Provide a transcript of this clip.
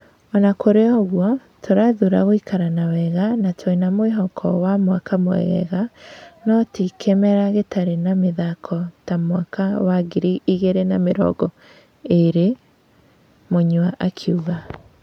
Ona kũrĩouguo, tũrathura gũikara na wega na twĩna mwĩhoko wa mwaka mwegega no ti kĩmera gĩtari na mĩthako ta mwaka wa ngiri igĩrĩ na mĩrongo ĩĩrĩ,' Mũnywa akiuga.